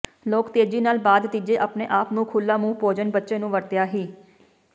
ਲੋਕ ਤੇਜ਼ੀ ਨਾਲ ਬਾਅਦ ਤੀਜੇ ਆਪਣੇ ਆਪ ਨੂੰ ਖੁੱਲ੍ਹਾ ਮੂੰਹ ਭੋਜਨ ਬੱਚੇ ਨੂੰ ਵਰਤਿਆ ਹੀ